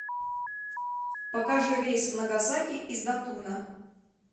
покажи рейс в нагасаки из датуна